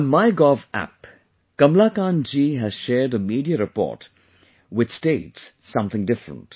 On MyGov app, Kamalakant ji has shared a media report which states something different